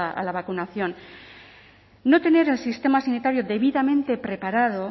a la vacunación no tener el sistema sanitario debidamente preparado